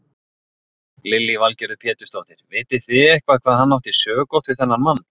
Lillý Valgerður Pétursdóttir: Vitið þið eitthvað hvað hann átti sökótt við þennan mann?